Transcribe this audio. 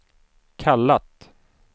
kallat